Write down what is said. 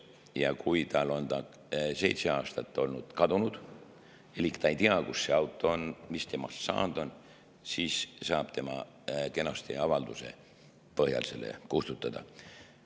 Ja kui tal on see seitse aastat olnud kadunud elik ta ei tea, kus see auto on, mis sellest saanud on, siis saab ta kenasti avalduse põhjal selle kustutada.